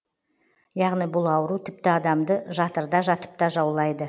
яғни бұл ауру тіпті адамды жатырда жатыпта жаулайды